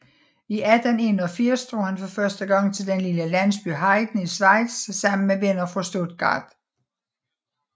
I 1881 drog han for første gang til den lille landsby Heiden i Schweiz sammen med venner fra Stuttgart